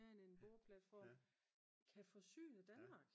mere end en boreplatform kan forsyne Danmark